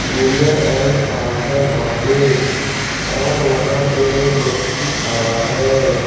Courier and parcel office और वहां पे एक व्यक्ति खड़ा है।